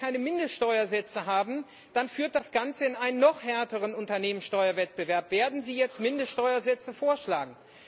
Denn wenn wir keine Mindeststeuersätze haben, dann führt das Ganze in einen noch härteren Unternehmenssteuerwettbewerb. Werden Sie jetzt Mindeststeuersätze vorschlagen?